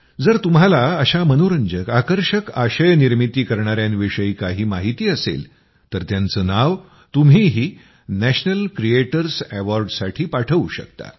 जर तुम्हाला अशा मनोरंजक आकर्षक आशय निर्मिती करणायांविषयी काही माहिती असेल तर त्यांचं नाव तुम्हीही नॅशनल क्रिएटर्स अॅवॉर्डसाठी पाठवू शकता